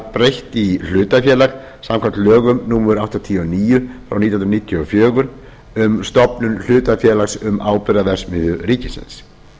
breytt í hlutafélag samkvæmt lögum númer áttatíu og níu nítján hundruð níutíu og fjögur um stofnun hlutafélags um áburðarverksmiðju ríkisins